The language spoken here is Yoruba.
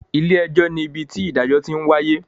Ilé ẹjọ́ ní ibi tí ìdájọ́ ti ń wáyé